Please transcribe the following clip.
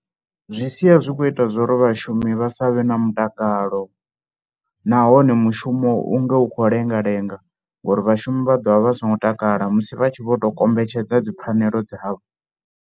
Zwi sia zwi khou ita zwo ri vhashumi vha sa vhe na mutakalo nahone mushumo u nge u khou lenga lenga ngori vhashumi vha ḓo vha vha songo takala musi vha tshi vho tou kombetshedza dzi pfhanelo dzavho.